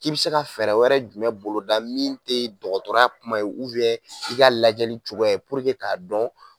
K'i be se ka fɛɛrɛ wɛrɛ jumɛn boloda min te dɔgɔtɔrɔya kuma ye i ka lajɛli cogoya k'a dɔn